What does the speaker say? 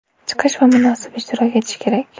Chiqish va munosib ishtirok etish kerak.